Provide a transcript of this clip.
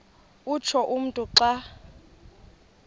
utsho umntu xa